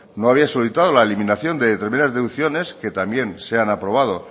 no había solicitado la eliminación de determinadas deducciones que también se han aprobado